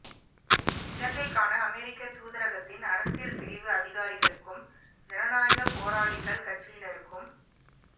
இலங்கைக்கான அமெரிக்க தூதரகத்தின் அரசியல்பிரிவு அதிகாரிகளுக்கும் ஜனநாயக போராளிகள் கட்சினருக்குமி